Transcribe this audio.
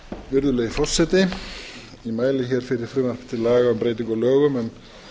virðulegi forseti ég mæli hér fyrir frumvarpi til laga um breytingu á lögum um